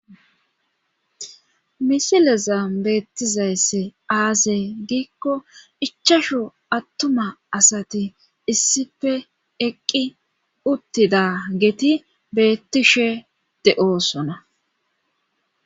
Misileza beettizayssi aaze giikko ichchashu attuma asati issippe eqqi uttida geeti beettishe de7osona.